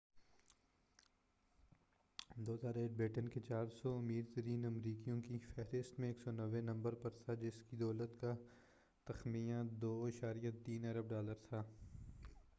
beaten 2008 کے 400 امیر ترین امریکیوں کی فہرست میں 190 نمبر پر تھا جس کی دولت کا تخمینہ 2.3 ارب ڈالر تھا